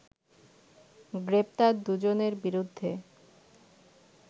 গ্রেপ্তার দুজনের বিরুদ্ধে